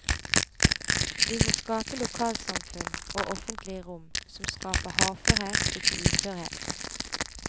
Vi må skape lokalsamfunn og offentlig rom som skaper hardførhet, ikke uførhet.